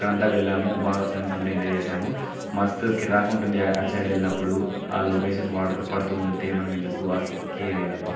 ఇక్కడా అంతా వెళ్ళాము భాగా ఫ్రెండ్స్ అందరము ఎంజాయ్ చేసాము మస్తూ కిర్రాక్ ఉంటుంది అటు సైడ్ వెళ్ళినపుడు. ఆ లొకేషన్ వాటర్ పడుతూ ఉంటె మన మేధకు ఆ కిక్ ఆ వేరు అబ్బా .